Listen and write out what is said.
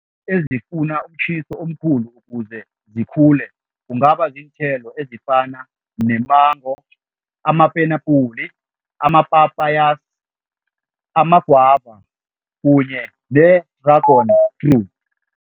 Ezifuna umtjhiso omkhulu ukuze zikhule, kungaba ziinthelo ezifana ne-mango, amapenapuli, ama-papayas, amagwava kunye ne-dragon fruit.